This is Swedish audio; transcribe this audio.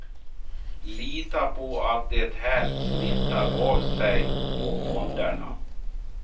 Lita på att det här smittar av sig på fonderna.